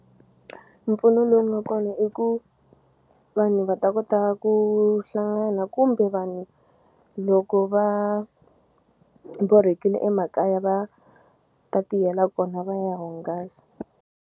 Mpfuno lowu nga kona i ku vanhu va ta kota ku hlangana kumbe vanhu loko va borhekile emakaya va ta tiyela kona va ya hungasa.